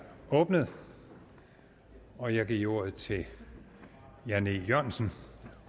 åbnet og jeg giver ordet til jan e jørgensen